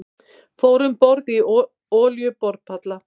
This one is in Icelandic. Fóru um borð í olíuborpall